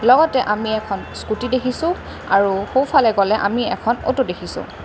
ইয়াত আমি এখন স্কুটী দেখিছোঁ আৰু সোঁফালে গ'লে আমি এখন অ'টো দেখিছোঁ।